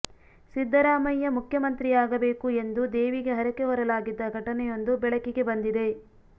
ಸಿದ್ದರಾಮಯ್ಯ ಮುಖ್ಯ ಮಂತ್ರಿಯಾಗಬೇಕು ಎಂದು ದೇವಿಗೆ ಹರಕೆ ಹೊರಲಾಗಿದ್ದ ಘಟನೆಯೊಂದು ಬೆಳಕಿಗೆ ಬಂದಿದೆ